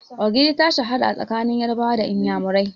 Ogiri ta shahara a tsakanin Yarabawa da Inyamurani.